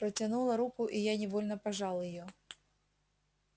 протянула руку и я невольно пожал её